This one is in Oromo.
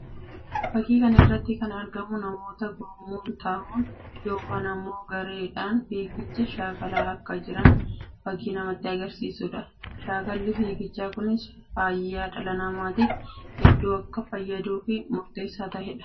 Fakkii kana irratti kan argamu namoota gurmuun tahuun yookiin immoo gareedhaan fiigicha shaakalaa akka jiran fakkii namatti agarsiisuu dha. Shakkalli fiigichaa kunis fayyaa dhala namaatiif hedduu akka fayyadu fi murteessaa tahee dha.